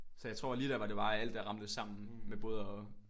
Så jeg tror lige der var det bare alt der ramlede sammen med både at